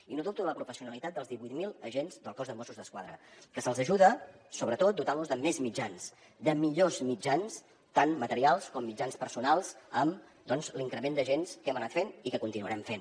i no dubto de la professionalitat dels divuit mil agents del cos de mossos d’esquadra que se’ls ajuda sobretot dotant los de més mitjans de millors mitjans tant materials com mitjans personals amb doncs l’increment d’agents que hem anat fent i que continuarem fent